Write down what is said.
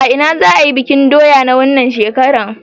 A ina za'a yi bikin doya na wannan shekarar?